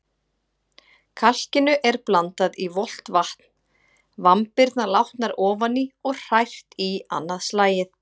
Kalkinu er blandað í volgt vatn, vambirnar látnar ofan í og hrært í annað slagið.